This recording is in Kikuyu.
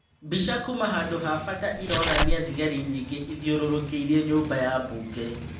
Mbica kuma handu ha bata ĩronania thigari nyingĩ ithiũrũrũkĩirie nyũmba ya mbunge".